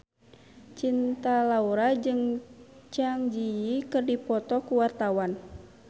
Cinta Laura jeung Zang Zi Yi keur dipoto ku wartawan